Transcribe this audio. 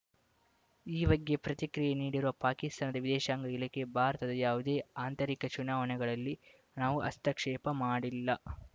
ಈ ಬಗ್ಗೆ ಪ್ರತಿಕ್ರಿಯೆ ನೀಡಿರುವ ಪಾಕಿಸ್ತಾನದ ವಿದೇಶಾಂಗ ಇಲಾಖೆ ಭಾರತದ ಯಾವುದೇ ಆಂತರಿಕ ಚುನಾವಣೆಗಳಲ್ಲಿ ನಾವು ಹಸ್ತಕ್ಷೇಪ ಮಾಡಿಲ್ಲ